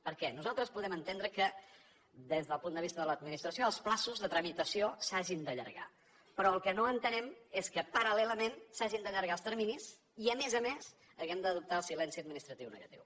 per què nosaltres podem entendre que des del punt de vista de l’administració els terminis de tramitació s’hagin d’allargar però el que no entenem és que paral·lelament s’hagin d’allargar els terminis i a més a més hàgim d’adoptar el silenci administratiu negatiu